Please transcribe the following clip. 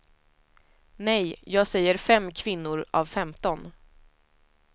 Nej, jag säger fem kvinnor av femton.